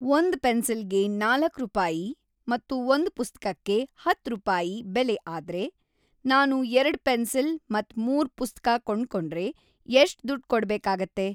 ಒಂದ್‌ ಪೆನ್ಸಿಲ್‌ಗೆ ನಾಲಕ್‌ ರುಪಾಯಿ ಮತ್ತು ಒಂದ್‌ ಪುಸ್ತ್ಕಕ್ಕೆ ಹತ್ತ್‌ ರುಪಾಯಿ ಬೆಲೆ ಆದ್ರೆ, ನಾನು ಎರಡ್‌ ಪೆನ್ಸಿಲ್‌ ಮತ್ತ್‌ ಮೂರ್‌ ಪುಸ್ತ್ಕ ಕೊಂಡ್ಕೊಂಡ್ರೆ ಎಷ್ಟ್‌ ದುಡ್ಡ್‌ ಕೊಡ್ಬೇಕಾಗತ್ತೆ